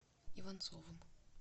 иванцовым